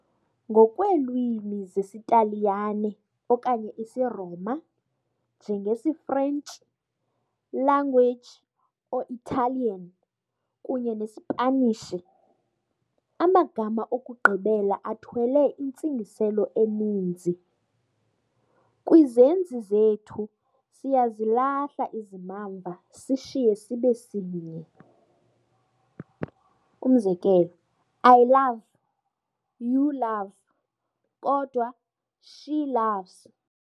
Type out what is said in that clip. Ngokweelwimi zesiTaliyane okanye isi'Roma', njengesiFrentshi, language or Italian, kunye neSpanishi, amagama okugqibela athwele intsingiselo eninzi. Kwizenzi zethu siyazilahla izimamva sishiye sibe sinye- I love, you love, kodwa "she love's'.